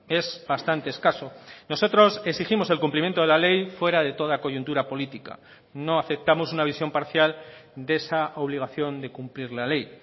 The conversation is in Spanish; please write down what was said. es bastante escaso nosotros exigimos el cumplimiento de la ley fuera de toda coyuntura política no aceptamos una visión parcial de esa obligación de cumplir la ley